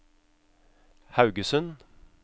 Haugesund